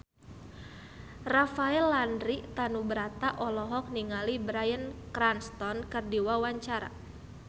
Rafael Landry Tanubrata olohok ningali Bryan Cranston keur diwawancara